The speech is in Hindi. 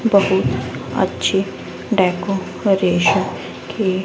बहुत अच्छी डेकोरेशन की--